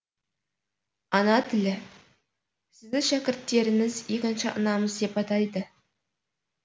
ана тілі сізді шәкірттеріңіз екінші анамыз деп атайды